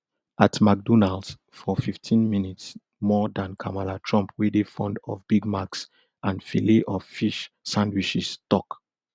at mcdonalds for fifteen minutes more dan kamala trump wey dey fond of big macs and filel of fish sandwiches tok